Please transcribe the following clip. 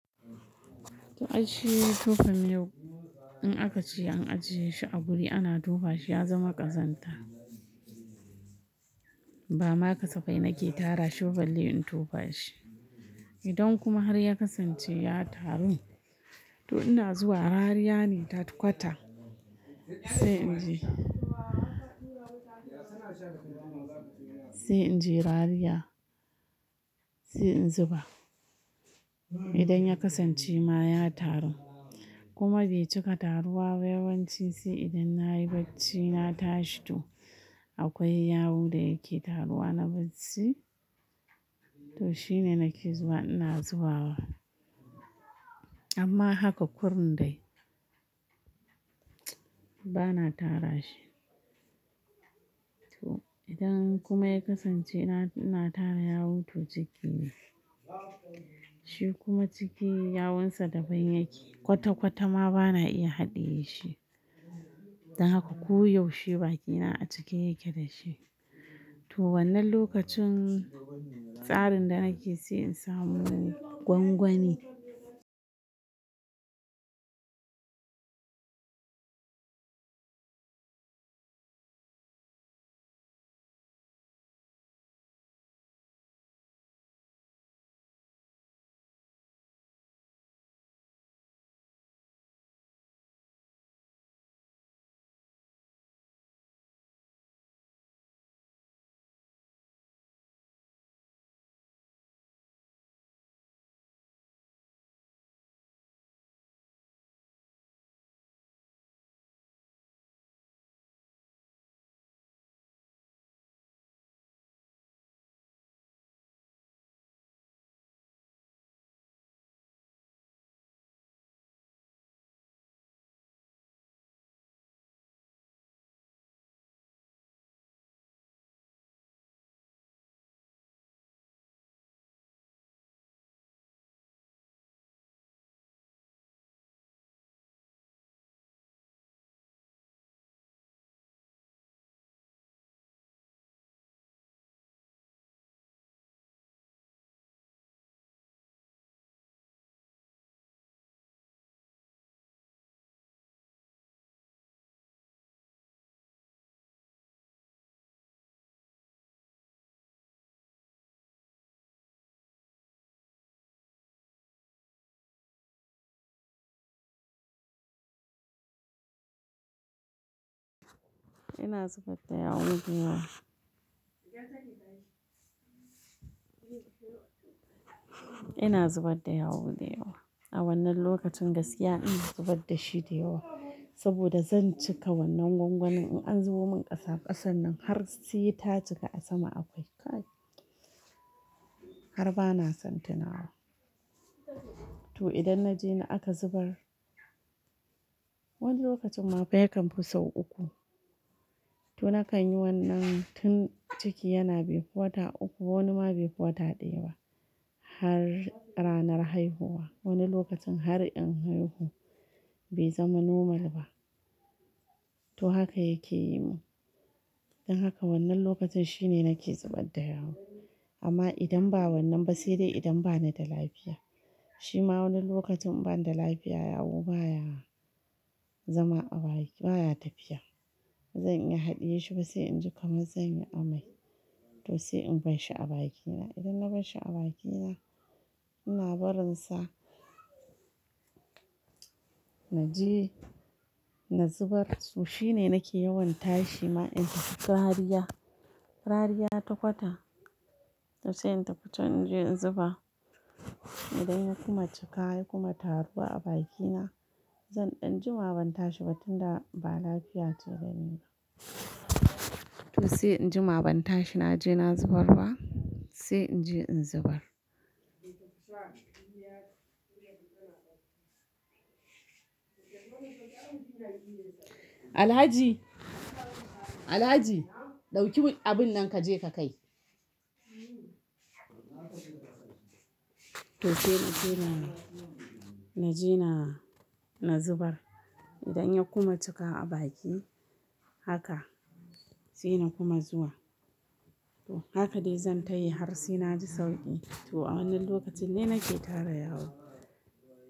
To, aishi tofa miyau, in aka ce an ajiye shi a wuri ana tofa shi ya zama ƙazanta. Ba ma kasafai nake tara shi ba balle in tofa shi. Idan kuma har ya kasance ya taru, to ina zuwa rariya ne ta kwata sai in je. Sai in je rariya, sai in zuba. Idan ya kasance ma ya taru. Kuma bai cika taruwa ba yawanci sai idan na yi bacci na tashi to akwai yawu da yake taruwa na bacci, to shine nake zuwa ina zubawa. Amma haka kurin dai, bana tara shi. To, idan kuma ya kasance ina tara yawu to ciki ne. Shi kuma cikin yawun sa da ban yake kwata kwata ma bana iya haɗiye shi. Haka ko yaushe bakina a cike yake da shi. To wannan lokacin tsarin da nake so in samu gwangwani. Ina zubar da yawu da yawa. Ina zubar da yawun da yawa. A wannan lokacin gaskiya ina zubar da shi da yawa. Saboda zan cika wannan gwangwanin in an zubo min ƙasa, ƙasan nan har se ta cika a sama akwai. Har bana son tunawa. To idan na je ni aka zubar, wani lokacin ma fa yakamfi sau uku. To nakan yi wannan tun ciki yana befi wata uku wani ma befi wata ɗaya ba har ranar haihuwa. Wani lokacin har in haihu bai zama normal ba. To haka yake yi mun. Don haka wannan lokacin shine nake zubar da yawu. Amma idan ba wannan ba sai dai idan banida lafiya. Shi ma wani lokacin in bani da lafiya yawu baya zama a baki baya tafiya. Bazan iya haɗiye shi ba sai in ji kaman zan yi amai. To sai in bashshi a bakina. Idan na bashshi a bakina ina barin sa na je na zubar. To shine nake yawan tashi ma in tafi rariya, rariya ta kwata to sai in tafi can in je in zuba. Idan ya kuma cika ya kuma taruwa bakina zan ɗan jima ban tashi ba tun da ba lafiya ce da ni ba. To sai in jima ban tashi na je na zubar ba sai in je in zubar. Alhaji, Alhaji ɗauki abun nan kaje ka kai. To sai inje na in je na na zubar. Idan ya kuma cika a baki haka sai na kuma zuwa. Haka dai zan tayi har sai na ji sauƙi. To a wannan lokacin ne nake tara yawu.